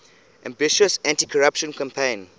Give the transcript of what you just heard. ambitious anticorruption campaign